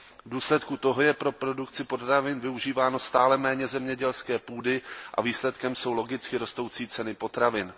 V důsledku toho je pro produkci potravin využíváno stále méně zemědělské půdy a výsledkem jsou logicky rostoucí ceny potravin.